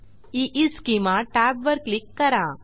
ईस्केमा tab वर click करा